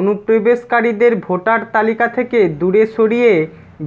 অনুপ্রবেশকারীদের voter তালিকা থেকে দূরে সরিয়ে